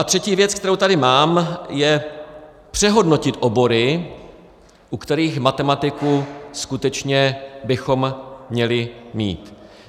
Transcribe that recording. A třetí věc, kterou tady mám, je přehodnotit obory, u kterých matematiku skutečně bychom měli mít.